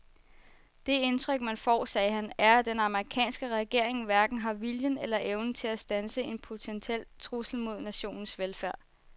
Det indtryk man får, sagde han, er at den amerikanske regering hverken har viljen eller evnen til at standse en potentiel trussel mod nationens velfærd.